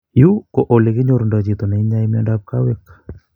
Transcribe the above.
Yu ko olekinyorundoi chito ne inyai miondap kawek